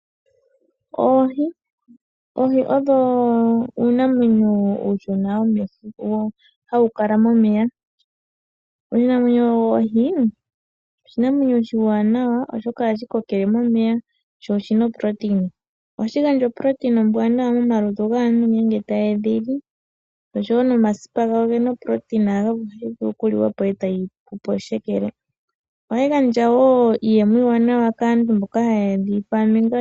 Oohi, oohi odho uunamwenyo uushona hawu kala momeya. Oshinamwenyo ohi oshinamwenyo oshiwanawa oshoka ohashi kokele momeya sho oshina uundjolowele. Ohashi gandja uundjolowele uuwanawa momalutu gaantu ngele taye dhili, osho woo nomasipa gawo ogena uundjolowele ota ga vulu okuliwa po etaga pu po shekele. Ohayi gandja woo iiyemo iiwanawa kaantu mboka haya dhi munu.